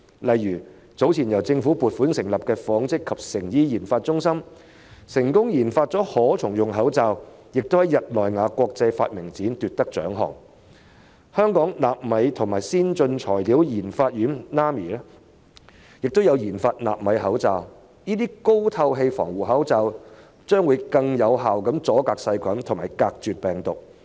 例如早前由政府撥款成立的香港紡織及成衣研發中心便成功研發了可重用口罩，並且在日內瓦國際發明展奪得獎項；香港納米及先進材料研發院有限公司亦有研發納米口罩，這些高透氣防護口罩能更有效隔絕細菌和病毒。